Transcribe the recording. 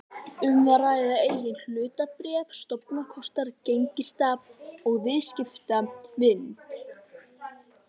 um að ræða eigin hlutabréf, stofnkostnað, gengistap og viðskiptavild.